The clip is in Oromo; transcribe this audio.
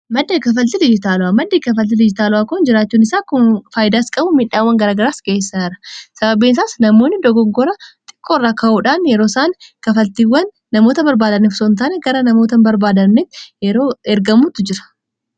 madde kafaltil ijitaalu'aa madde kafaltili ijitaalu'aa kon jiraachuun isaa kun faaydaas qabu miidhaawwan garaagaraas keessara sababein isaas namoonni dogogora xiqqoirraa ka'uudhaan yeroo isaan kafaltiiwwan namoota barbaadannef sontaane gara namoota barbaadannei yeroo ergamuttu jira